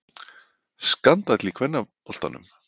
Skandall í kvennaboltanum.